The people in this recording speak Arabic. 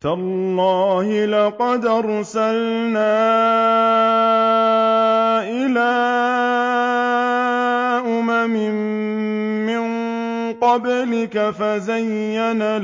تَاللَّهِ لَقَدْ أَرْسَلْنَا إِلَىٰ أُمَمٍ مِّن قَبْلِكَ فَزَيَّنَ